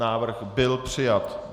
Návrh byl přijat.